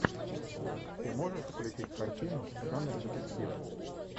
ты можешь включить картину жанр детектив